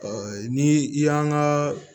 ni i y'an ka